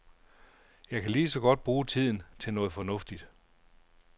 Jeg kan lige så godt bruge tiden til noget fornuftigt.